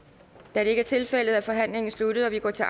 da det ikke er tilfældet er forhandlingen sluttet og vi går til